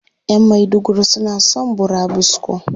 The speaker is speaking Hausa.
Ƴan maiduguri suna son burabusko.